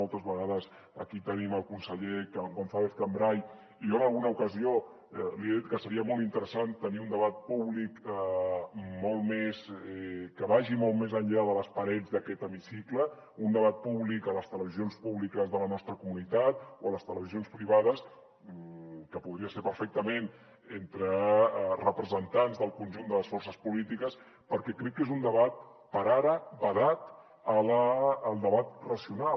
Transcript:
moltes vegades aquí tenim el conseller gonzàlezcambray i jo en alguna ocasió li he dit que seria molt interessant tenir un debat públic que vagi molt més enllà de les parets d’aquest hemicicle un debat públic a les televisions públiques de la nostra comunitat o a les televisions privades que podria ser perfectament entre representants del conjunt de les forces polítiques perquè crec que és un debat per ara vedat al debat racional